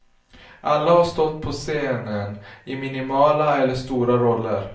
Alla har stått på scenen, i minimala eller stora roller.